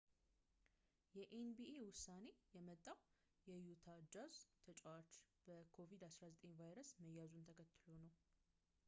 የኤንቢኤ ዉሳኔ የመጣዉ የዩታ ጃዝ ተጨዋች በ ኮቪድ-19 ቫይረስ መያዙን ተከትሎ ነዉ